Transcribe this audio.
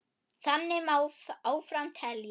Þannig má áfram telja.